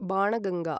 Banganga